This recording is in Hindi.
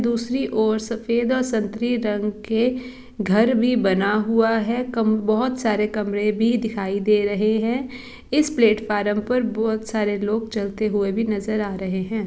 दूसरी ओर सफेद और संत्री रंग के घर भी बना हुआ है। कम बहुत सारे कमरे भी दिखाई दे रहे है। इस प्लेटफार्म पर बोहोत सारे लोग चलते हुए भी नजर आ रहे है।